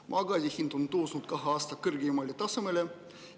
Maagaasi hind on tõusnud kahe aasta kõrgeimale tasemele.